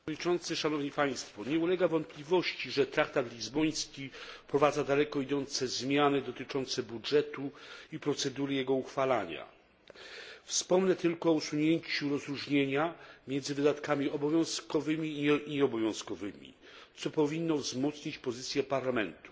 Panie przewodniczący! Nie ulega wątpliwości, że traktat lizboński wprowadza daleko idące zmiany dotyczące budżetu i procedury jego uchwalania. Wspomnę tylko o usunięciu rozróżnienia na wydatki obowiązkowe i nieobowiązkowe, co powinno wzmocnić pozycję Parlamentu,